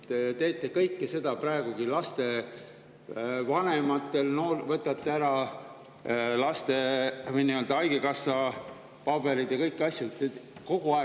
Te teete kõike seda praegugi: võtate lastevanematelt ära laste kassa pabereid ja kõiki asju.